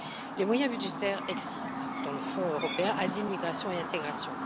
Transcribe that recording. Les moyens budgétaires existent dans le Fonds européen Asile, migration et intégration.